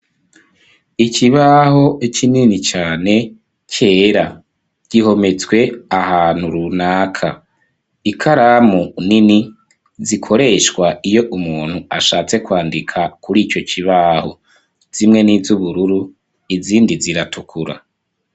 Ikibaho, kinini cane, cera; gihometswe ahantu runaka; ikaramu nini, zikoreshwa, iyo umuntu, ashatse kwandika, kuri ico kibaho; zimwe ni iz'ubururu, izindi ziratukura.